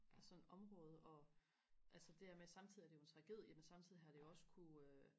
sådan område og altså det her med samtidig er det jo en tragedie men samtidig har det jo også kunne øh